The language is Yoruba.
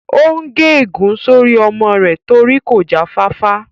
Ó n gé ègún sórí ọmọ rẹ̀ torí kò já fáfá